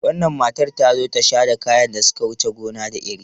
Wannan matar ta zo tasha da kayan da suka wuce gona da iri.